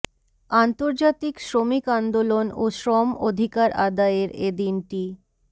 আন্তর্জাতিক শ্রমিক আন্দোলন ও শ্রম অধিকার আদায়ের এ দিনটি